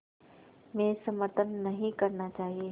में समर्थन नहीं करना चाहिए